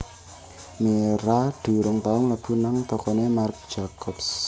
Mira durung tau mlebu nang tokone Marc Jacobs